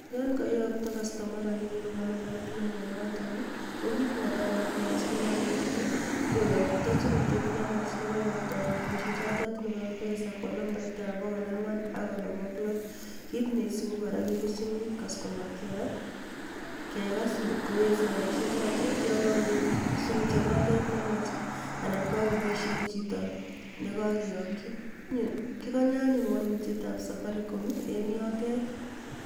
Yon kaiyokto kastoma rapinik koba nambait nemanoton ko kit netai neamwochini alenjini koyokto sirutiet nenwach nekaiyoktoen robishek choto nebo mpesa kwo numbait ab bokol angwan ak konom ak loo kit neisubin kora kebirchin customer care kekas ngotkoweksei robishek choto kotyo ngowir sirutiet noto nenwach anan kakoboishen chito nekakiochin kikonye anyun walutyet ab safaricom eng yoto